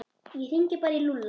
Ég hringi bara í Lúlla.